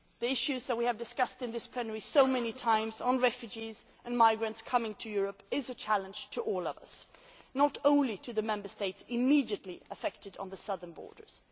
The issues that we have discussed in this plenary so many times concerning refugees and migrants coming to Europe are a challenge for all of us, not just for the Member States immediately affected on the southern borders.